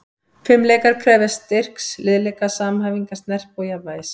Fimleikar krefjast styrks, liðleika, samhæfingar, snerpu og jafnvægis.